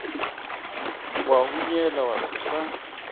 wa hunyela wa se sa